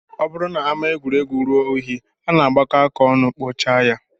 Ọ bụrụ na ama egwuregwu ruo unyi, a na-agbakọ aka ọnụ kpochaa ya